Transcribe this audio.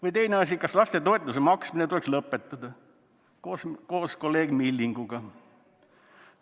Või teine asi: "Kas lastetoetuse maksmine tuleks lõpetada?", koos kolleeg Millinguga.